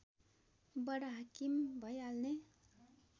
बडाहाकिम भइहाल्ने